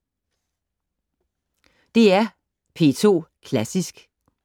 DR P2 Klassisk